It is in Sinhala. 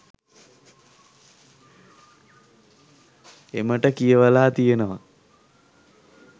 එමට කියවලා තියෙනවා.